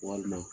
Walima